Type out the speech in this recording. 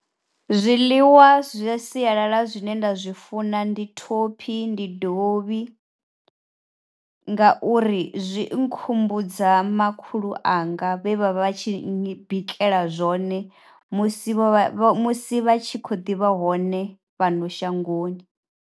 Zwiḽiwa zwa sialala zwine nda zwi funa ndi thophi ndi dovhi, ngauri zwi nkhumbudza makhulu anga vhe vha vha vha tshi bikela zwone musi vho vha musi vhatshi kho ḓivha hone fhano shangoni.